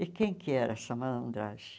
E quem que era essa malandragem?